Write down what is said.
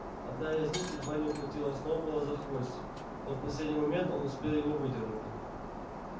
одна из них едва не ухватила сноуболла за хвостик но в последний момент он успел его выдернуть